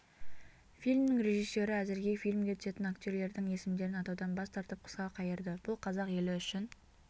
фильмнің режиссері әзірге фильмге түсетін актерлердің есімдерін атаудан бас тартып қысқа қайырды бұл қазақ елі үшін